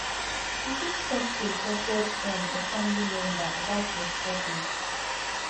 you fit talk to a trusted friend or family member about your struggles